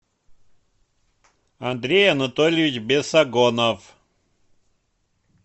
андрей анатольевич бесогонов